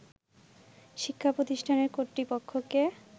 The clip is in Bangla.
“শিক্ষা প্রতিষ্ঠানের কর্তৃপক্ষকে